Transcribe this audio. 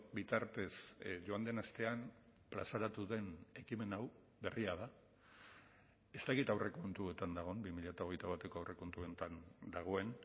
bitartez joan den astean plazaratu den ekimen hau berria da ez dakit aurrekontuetan dagoen bi mila hogeita bateko aurrekontuetan dagoen